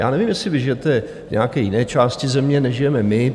Já nevím, jestli vy žijete v nějaké jiné části Země, než žijeme my.